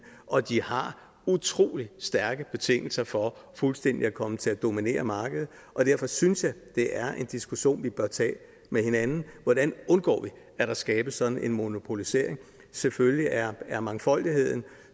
og de har utrolig stærke betingelser for fuldstændig at komme til at dominere markedet derfor synes jeg det er en diskussion vi bør tage med hinanden hvordan undgår vi at der skabes sådan en monopolisering selvfølgelig er er mangfoldigheden